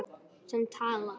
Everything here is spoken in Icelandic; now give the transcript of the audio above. Sem talar.